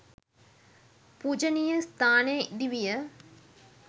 පූජණීය ස්ථානය ඉඳිවිය.